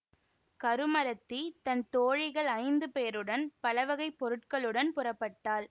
கருமறத்தி தன் தோழிகள் ஐந்து பேருடன் பலவகைப் பொருள்களுடன் புறப்பட்டாள்